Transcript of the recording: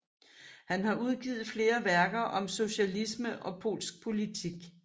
Han har udgivnet flere værker om socialisme og polsk politik